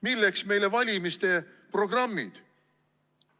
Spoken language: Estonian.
Milleks meile valimiste programmid?